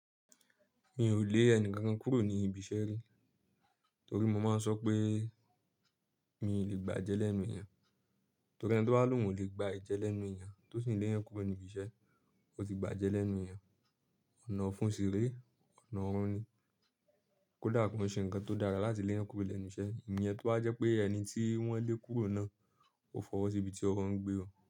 Mi ò lé ẹni kan kúrò ní ibi iṣẹ́ rí torí mo máa ń sọ pé mi ò lè gbá jẹ́ lẹ́nu èèyàn. Torí ẹni tí ó bá ní ohùn lè gba ẹ̀jẹ̀ lẹ́nu èèyàn, tó sì ń lé èèyàn kúrò ní ibi iṣẹ́, ó ti gba ẹ̀jẹ̀ lẹ́nu èèyàn. Ọ̀nà ọ̀fun ṣeré, ọ̀nà ọ̀rún ni. Kódà kò ó ṣe nǹkan tó dára láti lé èèyàn kúrò lẹ́nu iṣẹ́, ìyẹn tó bá jẹ́ pé ẹni tí wọ́n lé kúrò náà ó fọwọ́ sí ibi tí ọwọ́ ń gbé o.